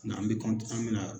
N'an bi an mi na.